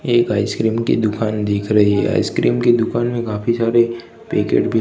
एक आइसक्रीम की दुकान दिख रही है आइसक्रीम की दुकान में काफी सारे पेकेट भी--